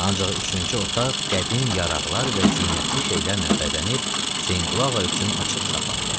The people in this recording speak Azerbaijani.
Ancaq üçüncü otaq qədim yaraqlar və zinətli şeylərlə bəzənib Hüseynqulu ağa üçün açıq saxlanılırdı.